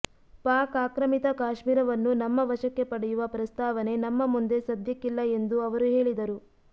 ಪಾಕ್ ಆಕ್ರಮಿತ ಕಾಶ್ಮೀರವನ್ನು ನಮ್ಮ ವಶಕ್ಕೆ ಪಡೆಯುವ ಪ್ರಸ್ತಾವನೆ ನಮ್ಮ ಮುಂದೆ ಸದ್ಯಕ್ಕಿಲ್ಲ ಎಂದು ಅವರು ಹೇಳಿದರು